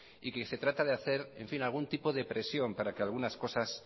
y que se trata de hacer algún tipo de presión para que algunas cosas